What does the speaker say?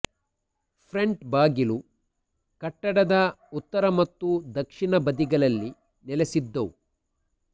front ಬಾಗಿಲು ಕಟ್ಟಡದ ಉತ್ತರ ಮತ್ತು ದಕ್ಷಿಣ ಬದಿಗಳಲ್ಲಿ ನೆಲೆಸಿದ್ದವು